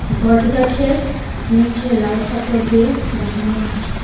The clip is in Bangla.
বট গাছে নিচে লাল কাপড় দিয়ে বাঁধানো আছে.